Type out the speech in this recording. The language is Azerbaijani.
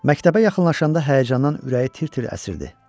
Məktəbə yaxınlaşanda həyəcandan ürəyi tir-tir əsirdi.